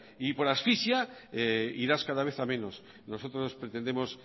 y por asfixia irás cada vez a menos nosotros pretendemos